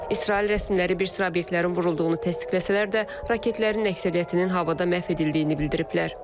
İsrail rəsmiləri bir sıra obyektlərin vurulduğunu təsdiqləsələr də, raketlərin əksəriyyətinin havada məhv edildiyini bildiriblər.